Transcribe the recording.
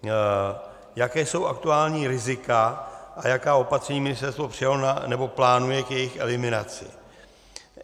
Jaká jsou aktuální rizika a jaká opatření ministerstvo přijalo nebo plánuje k jejich eliminaci?